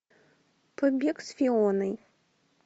побег с фионой